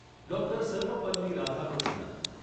doctor Sarvepalli Radhakrishnan